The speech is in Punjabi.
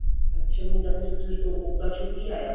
ਅੱਛਾ ਫੇਰ ਮੁੰਡਾ italy ਤੋਂ ਉਦਾਂ ਛੁੱਟੀ ਆਇਆ